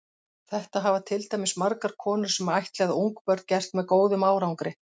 Þetta hafa til dæmis margar konur sem ættleiða ungbörn gert með góðum árangri.